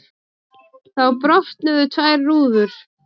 Þá brotnuðu tvær rúður.